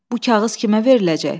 Bu kağız kimə veriləcək?